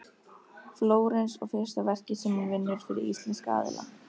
Flórens og fyrsta verkið sem hún vinnur fyrir íslenska aðila.